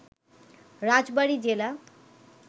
রাজবাড়ি জেলা